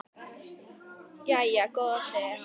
Jæja góða, segir hann.